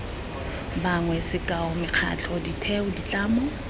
bangwe sekao mekgatlho ditheo ditlamo